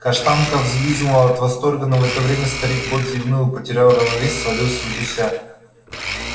каштанка взвизгнула от восторга но в это время старик кот зевнул и потеряв равновесие свалился с гуся